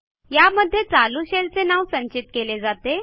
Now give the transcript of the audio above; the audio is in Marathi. या मध्ये चालू शेल चे नाव संचित केले जाते